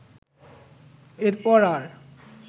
এরপর আর